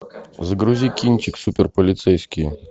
загрузи кинчик супер полицейские